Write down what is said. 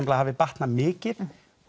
það hafi batnað mikið